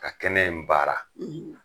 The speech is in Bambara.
Ka kɛnɛ in baara